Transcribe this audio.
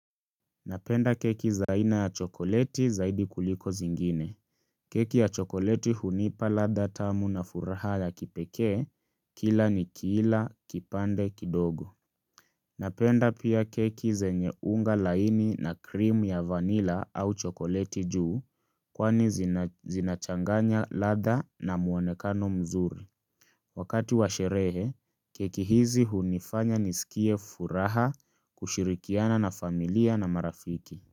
Napenda keki za aina ya chokoleti zaidi kuliko zingine. Keki ya chokoleti hunipa ladha tamu na furaha ya kipekee kila ni kila, kipande, kidogo. Napenda pia keki zenye unga laini na krimu ya vanila au chokoleti juu kwani zinachanganya ladha na muonekano mzuri. Wakati wa sherehe, keki hizi hunifanya nisikie furaha kushirikiana na familia na marafiki.